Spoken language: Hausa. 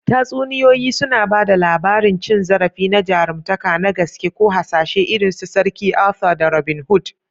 Tatsuniyoyi suna ba da labarin cin zarafi na jaruntaka na gaske ko hasashe irin su Sarki Arthur ko Robin Hood.